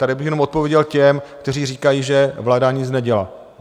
Tady bych jenom odpověděl těm, kteří říkají, že vláda nic nedělá.